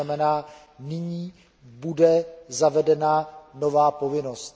To znamená, že nyní bude zavedena nová povinnost.